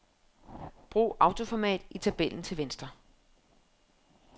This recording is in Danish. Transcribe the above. Brug autoformat i tabellen til venstre.